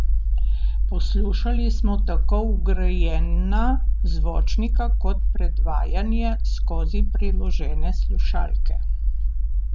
Poslušali smo tako vgrajena zvočnika kot predvajanje skozi priložene slušalke.